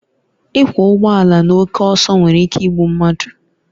Ịkwọ ụgbọ ala na oke ọsọ nwere ike igbu mmadụ